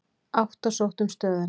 Átta sóttu um stöðuna.